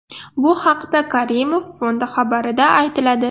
Bu haqda Karimov Fondi xabarida aytiladi .